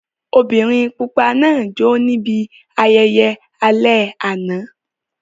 Obìnrin pupa náà jó ní ibi ayẹyẹ alẹ́ àná.